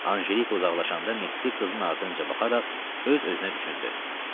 Anjelika uzaqlaşanda Mehdi qızın ardınca baxaraq öz-özünə düşündü.